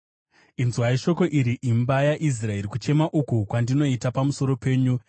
Inzwai shoko iri, imi imba yaIsraeri, kuchema uku kwandinoita pamusoro penyu: